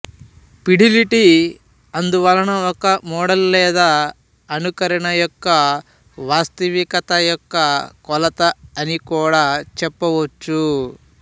fidelity అందువలన ఒక model లేదా అనుకరణ యొక్క వాస్తవికత యొక్క కొలత అని కూడా చెప్పవచ్చు